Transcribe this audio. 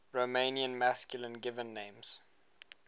romanian masculine given names